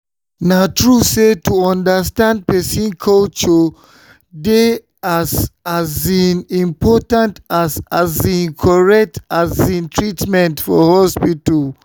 na true say to understand person culture dey as um important as um correct um treatment for hospital.